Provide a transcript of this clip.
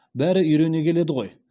бәрі үйрене келеді ғой